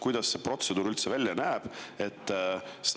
Kuidas see protseduur üldse välja näeb?